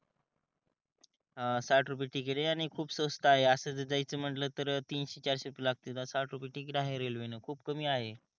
अं साठ रुपये तिकीट आहे आणि खूप स्वस्त आहे अस जर जायेचे म्हणल तर तीनशे चारशे रुपये लागते साठ रुपये तिकीट आहे रेलवे न खूप कमी आहे